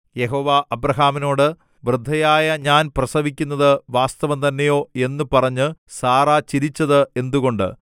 യഹോവ അബ്രാഹാമിനോട് വൃദ്ധയായ ഞാൻ പ്രസവിക്കുന്നത് വാസ്തവംതന്നെയോ എന്നു പറഞ്ഞ് സാറാ ചിരിച്ചത് എന്തുകൊണ്ട്